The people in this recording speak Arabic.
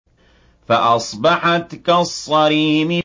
فَأَصْبَحَتْ كَالصَّرِيمِ